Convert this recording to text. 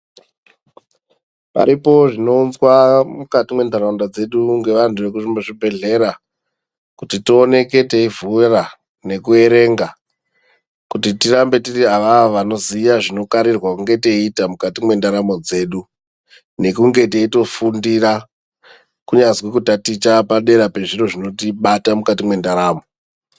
Paripo zvino unzwa mukati mwe ndauraunda dzedu nge vantu veku zvibhedhlera kuti tioneke tei vhura neku erenga kuti tirambe tiri awawo vanoziya zvino karirwa kunga teita mukati mwe ndaramo dzedu nekunge teito fundira kunyazwi ku taticha padera pezviro zvinoti bata mukati mwe ndaramo.